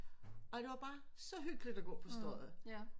Og det var bare så hyggeligt at gå på Strøget